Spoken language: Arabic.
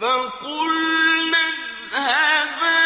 فَقُلْنَا اذْهَبَا